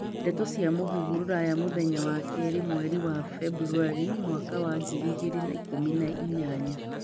Ndeto cia mūhuhu Rũraya, mũthenya wa Keerĩ mweri wa Februarĩ, mwaka wa ngiri igĩrĩ na ikũmi na inyanya